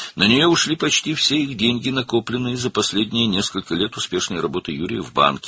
Ona Yurinin bankda uğurlu işinin son bir neçə ilində toplanmış demək olar ki, bütün pulları getdi.